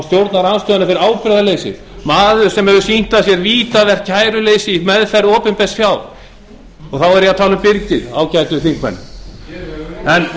stjórnarandstöðuna fyrir ábyrgðarleysi maður sem hefur sýnt af sér vítavert kæruleysi í meðferð opinbers fjár þá er ég að tala um byrgið ágætu þingmenn